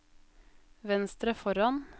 venstre foran